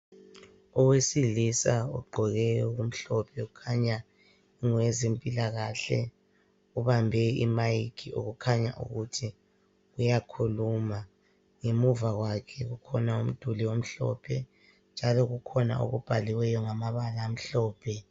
Owesilisa ogqoke okumhlophe ukhanya ngowezempilakahle. Ubambe imic okukhanya ukuthi uyakhuluma. Ngemuva kwakhe kukhona umduli omhlophe njalo kukhona okubhaliweyo ngamabala amhlophe.